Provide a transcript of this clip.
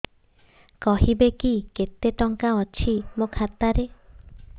କହିବେକି କେତେ ଟଙ୍କା ଅଛି ମୋ ଖାତା ରେ